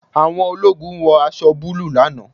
Àwọn ológun wọ aṣọ búlúù lánàá